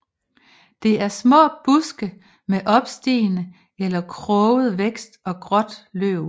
Det er små buske med opstigende eller kroget vækst og gråt løv